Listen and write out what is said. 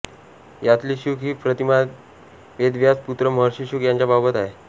यातली शुक ही प्रतिमा वेदव्यास पुत्र महर्षी शुक यांच्याबाबत आहे